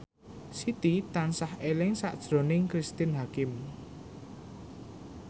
Siti tansah eling sakjroning Cristine Hakim